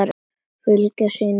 Fylgja sínum manni.